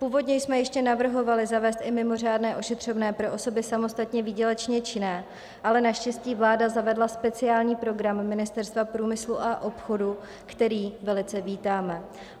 Původně jsme ještě navrhovali zavést i mimořádné ošetřovné pro osoby samostatně výdělečně činné, ale naštěstí vláda zavedla speciální program Ministerstva průmyslu a obchodu, který velice vítáme.